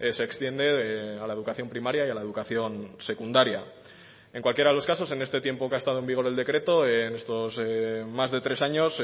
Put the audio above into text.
se extiende a la educación primaria y a la educación secundaria en cualquiera de los casos en este tiempo que ha estado en vigor el decreto en estos más de tres años